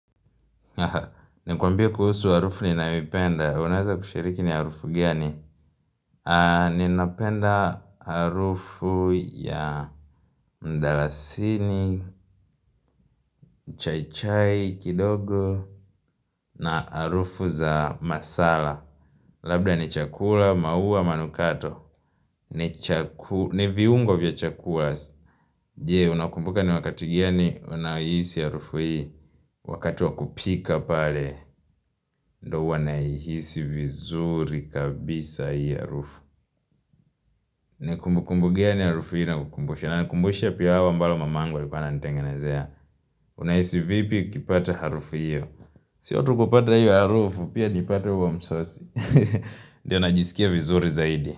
Nakwambia kuhusu harufu ninayoipenda. Unaweza kushiriki ni harufu gani? Ninapenda harufu ya mdalasini, chai chai, kidogo na harufu za masala. Labda ni chakula, maua, manukato. Ni viungo vya chakula. Je, unakumbuka ni wakati gani unahisi harufu hii Wakati wa kupika pale, ndiyo huwa nahisi vizuri kabisa hii harufu ni kumbukumbu gani harufu hii inakukumbusha? Inanikumbusha pilau ambalo mamangu alikuwa ananitengenezea Unahisi vipi ukipata harufu hiyo siyo tu kupata hiyo harufu, pia nipate huo msosi Ndiyo najisikia vizuri zaidi.